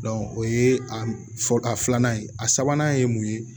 o ye a fɔ a filanan ye a sabanan ye mun ye